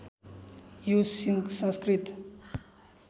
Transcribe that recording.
यो संस्कृत